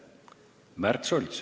Märt Sults.